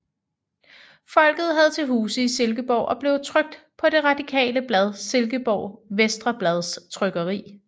Folket havde til huse i Silkeborg og blev trykt på det radikale blad Silkeborg Venstreblads trykkeri